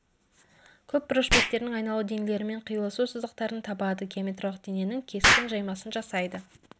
көпбұрыш беттерінің айналу денелерімен қиылысу сызықтарын табады геометриялық дененің кескін жаймасын жасайды